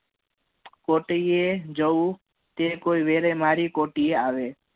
કોઇ જવું તે કોઈ વેરે મારી કોટીઇએ આવે